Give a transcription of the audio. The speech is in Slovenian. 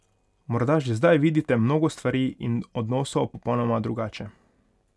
Morda že zdaj vidite mnogo stvari in odnosov popolnoma drugače ...